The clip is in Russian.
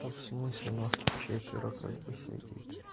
то в смысле нас тут четверо как бы сидит